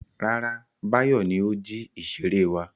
Rárá, Báyọ̀ ni ó jí ìṣeré wa.